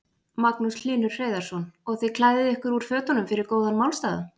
Magnús Hlynur Hreiðarsson: Og þið klæðið ykkur úr fötunum fyrir góðan málstað?